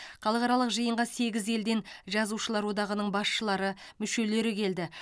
халықаралық жиынға сегіз елден жазушылар одағының басшылары мүшелері келді